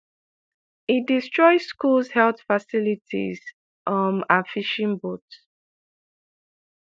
e destroy schools health facilities um and fishing boats.